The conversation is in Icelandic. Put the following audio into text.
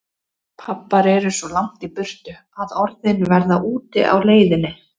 Pabbar eru svo langt í burtu að orðin verða úti á leiðinni.